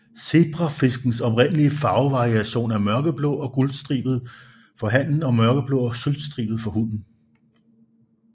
Zebrafiskens oprindelige farvevariation er mørkeblå og guldstribet for hannen og mørkeblå og sølvstribet for hunnen